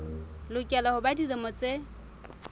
lokela ho ba dilemo tse